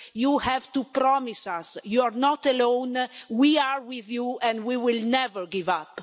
You have to promise us you're not alone, we are with you and we will never give up'.